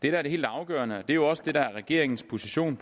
er det helt afgørende og det er jo også det der er regeringens position